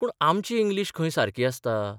पूण आमची इंग्लीश खंय सारकी आसता?